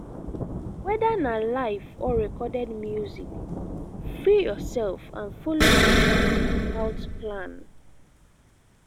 whether na live or recorded music free yourself and follow di beats without plan